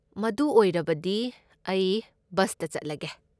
ꯃꯗꯨ ꯑꯣꯏꯔꯕꯗꯤ, ꯑꯩ ꯕꯁꯇ ꯆꯠꯂꯒꯦ꯫